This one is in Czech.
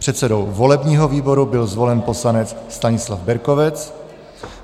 Předsedou volebního výboru byl zvolen poslanec Stanislav Berkovec.